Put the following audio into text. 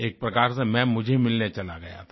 एक प्रकार से मैं मुझे मिलने चला गया था